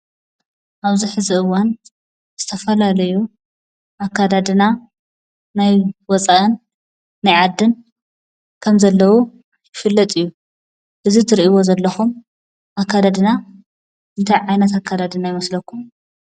አብዚ ሕዚ እዋን ዝተፈላለዩ አከዳድና ናይ ወፃእን ናይ ዓድን ከም ዘለው ይፍልጥ እዩ፡፡ እዚ እትሪኢዎ ዘለኹም አከዳድና እንታይ ዓይነት አከዳድና ይመስለኩም?